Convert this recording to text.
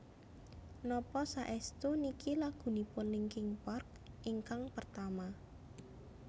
Napa saestu niki lagunipun Linkin Park ingkang pertama